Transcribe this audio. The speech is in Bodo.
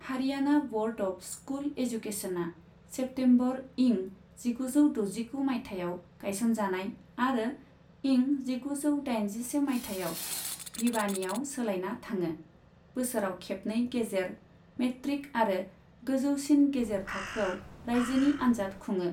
हारियाणा ब'र्ड अफ स्कुल एजुकेशना सेप्टेम्बर इं जिगुजौ द'जिगु मायथाइयाव गायसनजानाय आरो इं जिगुजौ दाइनजिसे मायथाइयाव भिवानीआव सोलायना थाङो, बोसोराव खेबनै गेजेर, मेट्रिक आरो गोजौसिन गेजेर थाखोआव राइजोनि आन्जाद खुङो।